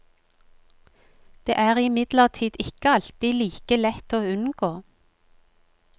Det er imidlertid ikke alltid like lett å unngå.